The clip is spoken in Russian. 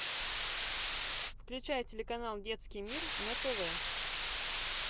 включай телеканал детский мир на тв